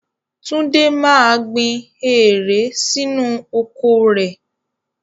Túndé máa gbìn eèré sínú oko rẹ.